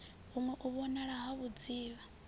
huṅwe u vhonala ha vhudzivha